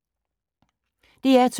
DR2